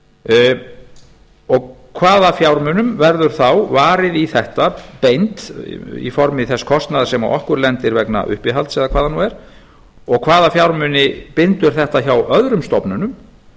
við nato hvaða fjármunum verður þá varið í þetta beint í formi þess kostnaðar sem á okkur lendir vegna uppihalds eða hvað það nú er og hvaða fjármuni bindur þetta hjá öðrum stofnunum